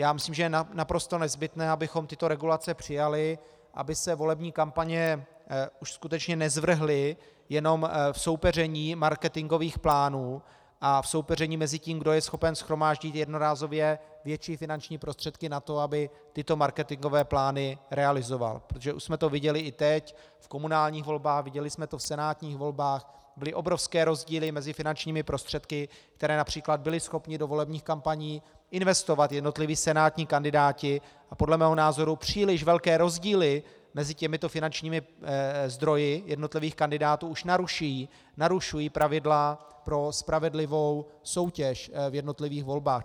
Já myslím, že je naprosto nezbytné, abychom tyto regulace přijali, aby se volební kampaně už skutečně nezvrhly jenom v soupeření marketingových plánů a v soupeření mezi tím, kdo je schopen shromáždit jednorázově větší finanční prostředky na to, aby tyto marketingové plány realizoval, protože už jsme to viděli i teď v komunálních volbách, viděli jsme to v senátních volbách - byly obrovské rozdíly mezi finančními prostředky, které například byli schopni do volebních kampaní investovat jednotliví senátní kandidáti, a podle mého názoru příliš velké rozdíly mezi těmito finančními zdroji jednotlivých kandidátů už narušují pravidla pro spravedlivou soutěž v jednotlivých volbách.